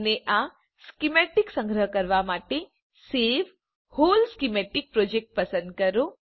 અને આ સ્કીમેતિક સંગ્રહ કરવા માટે સવે વ્હોલ સ્કીમેટિક પ્રોજેક્ટ પસંદ કરો